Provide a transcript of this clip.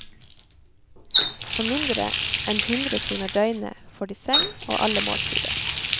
For mindre enn hundre kroner døgnet får de seng og alle måltider.